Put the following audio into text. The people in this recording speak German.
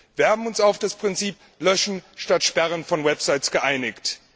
Wir haben uns auf das Prinzip Löschen statt Sperren von Websites geeinigt.